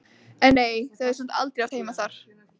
En nei, þau höfðu samt aldrei átt heima þar.